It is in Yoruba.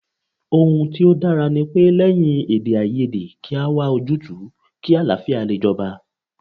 Ohun tí ó dára ní pé ,lẹ́yìn èdèàìyedè kí a wá ojútùú kí àlàáfíà lè jọba